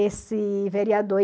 Esse vereador.